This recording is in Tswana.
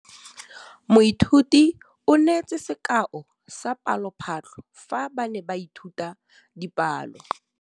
Moithuti o neetse sekaô sa palophatlo fa ba ne ba ithuta dipalo.